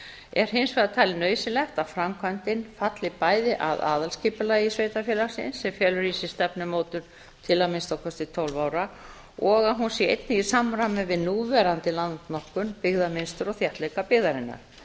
er hins vegar talið nauðsynlegt að framkvæmdin falli bæði að aðalskipulagi sveitarfélagsins sem felur í sér stefnumótun til að minnsta kosti tólf ára og að hún sé einnig í samræmi við núverandi landnotkun byggðamynstur og þéttleika byggðarinnar